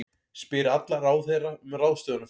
Spyr alla ráðherra um ráðstöfunarfé